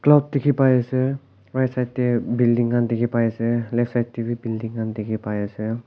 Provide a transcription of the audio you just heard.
alop dikhi pai ase right side teh building khan dikhi pai ase left side teh bhi building khan dikhi pai ase.